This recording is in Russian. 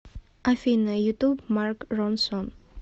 афина ютуб марк ронсон